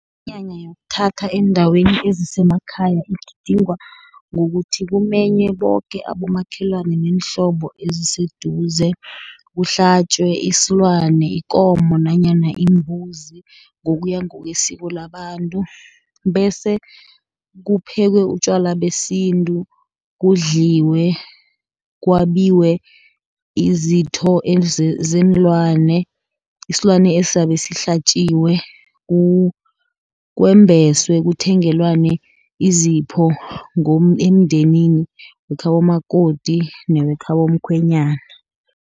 Iminyanya yokuthatha eendaweni ezisemakhaya, ugidingwa ngokuthi kumenywe boke abomakhelwana neenhlobo eziseduze. Kuhlatjwe isilwana ikomo, nanyana imbuzi, ngokuya ngokwesiko labantu, bese kuphekwe utjwala besintu, kudliwe, kwabiwe izitho zeenlwana, isilwana esizabe sihlatjiwe, kwembeswe, kuthengelwane izipho, emndenini wekhabo makoti, newekhabo mkhwenyana.